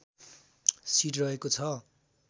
seat रहेको छ